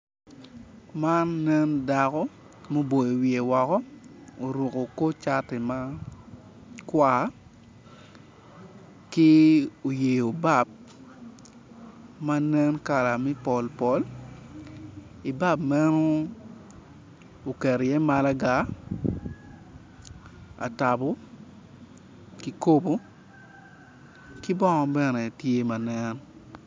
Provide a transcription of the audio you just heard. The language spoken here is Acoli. man nen dako muboyo wiye woko oruko kor cati ki oyeyo bab ma nen kala me pol pol, bab meno oketo iye malaga , atambo kikobo ki bongo bene tye ma nen